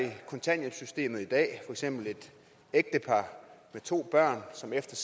kontanthjælpssystemet i dag for eksempel et ægtepar med to børn som efter